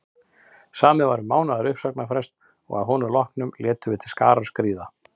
Samið var um mánaðar uppsagnarfrest og að honum loknum létum við til skarar skríða.